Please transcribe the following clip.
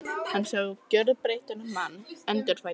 Hann sá gjörbreyttan mann, endurfæddan.